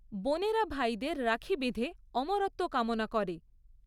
বোনেরা ভাইদের রাখি বেঁধে অমরত্ব কামনা করে।